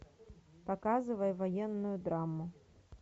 показывай военную драму